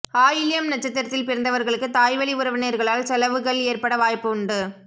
ஆயில்யம் நட்சத்திரத்தில் பிறந்தவர்களுக்கு தாய்வழி உறவினர்களால் செலவுகள் ஏற்பட வாய்ப்பு உண்டு